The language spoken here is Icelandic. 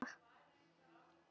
Megi eilífð vernda sálir ykkar.